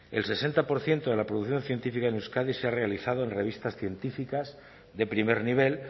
el sesenta por ciento de la producción científica en euskadi se ha realizado en revistas científicas de primer nivel